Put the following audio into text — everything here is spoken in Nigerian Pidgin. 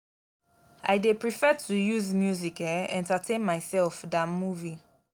i dey prefer to use music um entertain mysef dan movie.